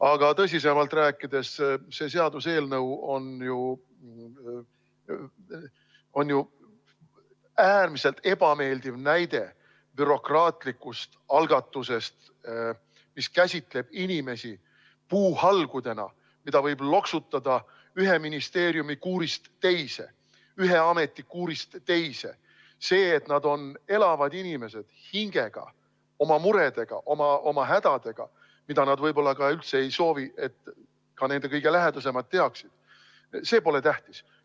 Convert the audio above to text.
Aga kui tõsisemalt rääkida, siis see seaduseelnõu on äärmiselt ebameeldiv näide bürokraatlikust algatusest, mis käsitab inimesi puuhalgudena, mida võib loksutada ühe ministeeriumi kuurist teise, ühe ameti kuurist teise, See, et nad on elavad inimesed oma hingega, oma muredega, oma hädadega, mida nad võib-olla üldse ei soovi, et ka nende kõige lähedasemad teaksid – see pole tähtis.